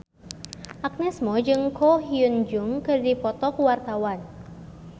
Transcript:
Agnes Mo jeung Ko Hyun Jung keur dipoto ku wartawan